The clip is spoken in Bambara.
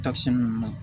Takisi ninnu